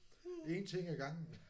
Én ting ad gangen